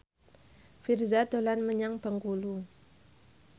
Virzha dolan menyang Bengkulu